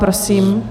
Prosím.